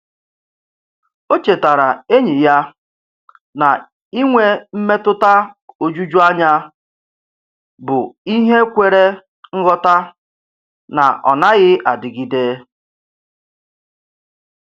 O chetaara enyi ya na inwe mmetụta ojuju anya bụ ihe kwere nghọta na ọ naghị adịgide.